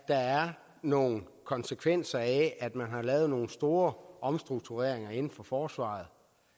nogle konsekvenser af at man har lavet nogle store omstruktureringer inden for forsvaret